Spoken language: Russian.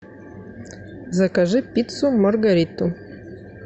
закажи пиццу маргариту